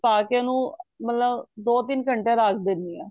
ਪਾ ਕੇ ਉਹਨੂੰ ਦੋ ਤਿੰਨ ਘੰਟੇ ਰੱਖ ਦੇਨੀ ਆ